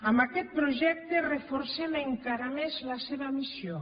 amb aquest projecte reforcem encara més la seva missió